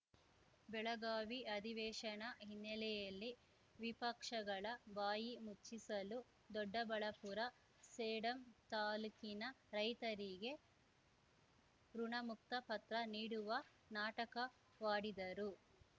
ಬೆಳಗಾವಿ ಅಧಿವೇಶನ ಹಿನ್ನೆಲೆಯಲ್ಲಿ ವಿಪಕ್ಷಗಳ ಬಾಯಿ ಮುಚ್ಚಿಸಲು ದೊಡ್ಡಬಳಾಪುರ ಸೇಡಂ ತಾಲೂಕಿನ ರೈತರಿಗೆ ಋುಣಮುಕ್ತ ಪತ್ರ ನೀಡುವ ನಾಟಕವಾಡಿದರು